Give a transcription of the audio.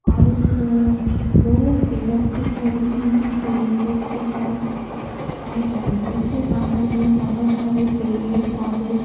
और एक दो पिलर सी खड़ी हुई हैं स्विमिंग पूल के पास और बाउंड्री के बाहर में बहुत सारे पेड़ पौधे।